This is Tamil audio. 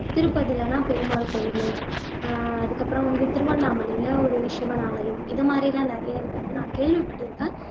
திருப்பதிலலாம் பெருமாள் கோயிலு ஆஹ் அதுக்கப்புறம் வந்து திருவண்ணாமலையில ஒரு சிவன் ஆலயம் இது மாதிரி எல்லாம் நிறைய இருக்கற கேள்விப்பட்டிருக்கேன்